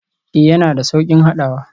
Ee, yana da sauƙin haɗawa.